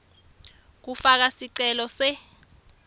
kufaka sicelo se